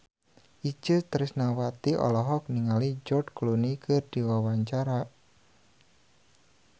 Itje Tresnawati olohok ningali George Clooney keur diwawancara